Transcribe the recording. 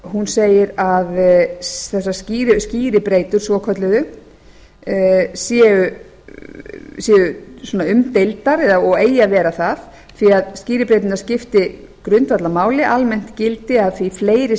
hún segir að þessar skýribreytur svokölluðu séu umdeildar og eigi að vera það því að skýribreyturnar skipti grundvallarmáli almennt gildi að því fleiri